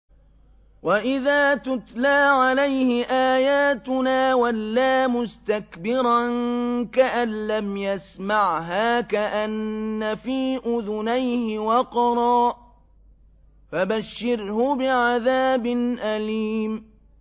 وَإِذَا تُتْلَىٰ عَلَيْهِ آيَاتُنَا وَلَّىٰ مُسْتَكْبِرًا كَأَن لَّمْ يَسْمَعْهَا كَأَنَّ فِي أُذُنَيْهِ وَقْرًا ۖ فَبَشِّرْهُ بِعَذَابٍ أَلِيمٍ